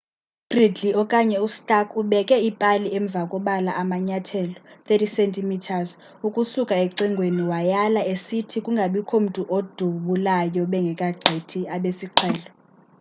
u-gridley okanye u-stark ubekhe ipali emva kobala amanyathelo 30 cm ukusuka ecingweni wayala esithi kungabikho mntu odubulayo bengeka gqithi abesiqhelo